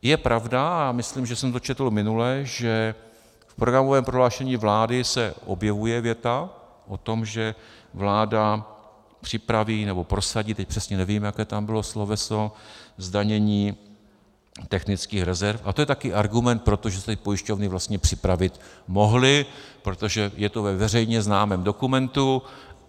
Je pravda, a myslím, že jsem to četl minule, že v programovém prohlášení vlády se objevuje věta o tom, že vláda připraví nebo prosadí - teď přesně nevím, jaké tam bylo sloveso - zdanění technických rezerv, a to je taky argument pro to, že se tady pojišťovny vlastně připravit mohly, protože je to ve veřejně známém dokumentu.